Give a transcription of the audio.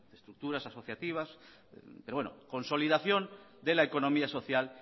estructuras asociativas pero bueno consolidación de la economía social